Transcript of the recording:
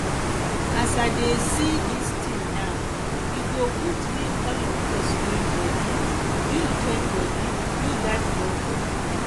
as i dey see dis tin now e go good make all of us join body build join body build dat borehole